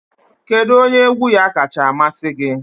Kedu onye egwu ya kacha amasị gị?